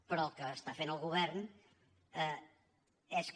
però el que està fent el govern és que